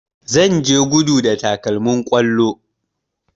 Zan je gudu da takalmin kwallo